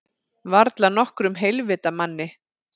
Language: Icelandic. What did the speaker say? Varla nokkrum heilvita manni.